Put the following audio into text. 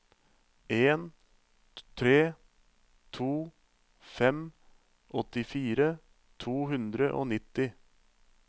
en tre to fem åttifire to hundre og nitti